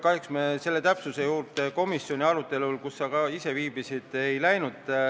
Kahjuks me selle täpsustuse juurde komisjoni arutelul, kus sa ka ise viibisid, ei jõudnud.